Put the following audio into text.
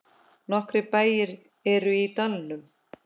Nokkrir bæir eru í dalnum.